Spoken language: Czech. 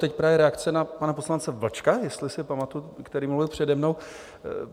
Teď právě reakce na pana poslance Vlčka, jestli si pamatuji, který mluvil přede mnou.